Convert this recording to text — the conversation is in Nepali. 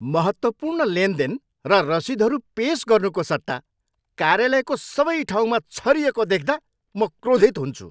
महत्त्वपूर्ण लेनदेन र रसिदहरू पेस गर्नुको सट्टा कार्यालयको सबै ठाउँमा छरिएको देख्दा म क्रोधित हुन्छु।